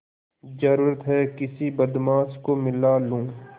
जरुरत हैं किसी बदमाश को मिला लूँ